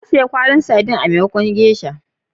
Na saya kwallin titusi,a maimakon geisha.